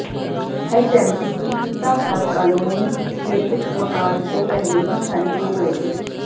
HMT की खस्ताहाल colony के कुछ मकान तो पहले ही खाली हो गए थे